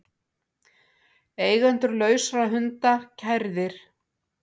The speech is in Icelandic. Eigendur lausra hunda kærðir